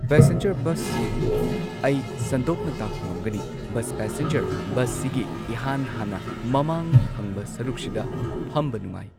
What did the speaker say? Passenger ꯕꯁꯁꯤ ꯑꯩ ꯁꯟꯗꯣꯛꯅ ꯇꯥꯛꯄ ꯉꯝꯒꯅꯤ ꯕꯁ ꯄꯦꯁꯦꯟꯖꯔ ꯕꯁꯁꯤꯒꯤ ꯏꯍꯥꯟ ꯍꯥꯟꯅ ꯃꯃꯥꯡ ꯊꯪꯕ ꯁꯔꯨꯛꯁꯤꯗ ꯐꯝꯕ ꯅꯨꯉꯥꯏ꯫